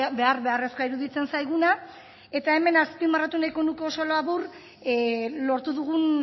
behar beharrezkoa iruditzen zaiguna eta hemen azpimarratu nahiko nuke oso labur lortu dugun